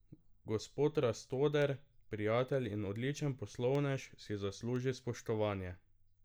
Gospod Rastoder, prijatelj in odličen poslovnež, si zasluži spoštovanje.